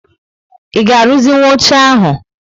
I ga aruzi nwụ óche ahu?